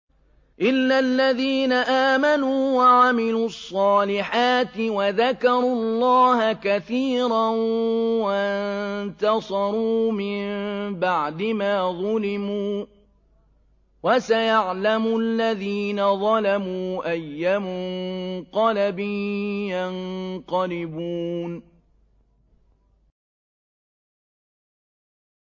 إِلَّا الَّذِينَ آمَنُوا وَعَمِلُوا الصَّالِحَاتِ وَذَكَرُوا اللَّهَ كَثِيرًا وَانتَصَرُوا مِن بَعْدِ مَا ظُلِمُوا ۗ وَسَيَعْلَمُ الَّذِينَ ظَلَمُوا أَيَّ مُنقَلَبٍ يَنقَلِبُونَ